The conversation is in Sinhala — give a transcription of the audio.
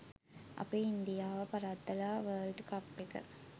අපි ඉන්දියාව පරද්දල වර්ල්ඩ් කප් එක